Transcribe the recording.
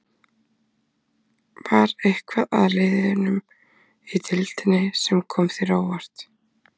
Var eitthvað af liðunum í deildinni sem kom þér á óvart?